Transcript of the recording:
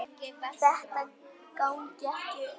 Þetta gangi ekki upp.